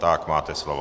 Tak máte slovo.